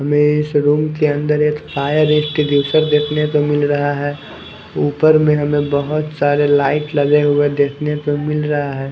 हमे इस रूम के अंदर एक हायर देखने को मिल रहा है उपर मे हमे बहोत सारे लाइट लगे हुए देखने को मिल रहा है।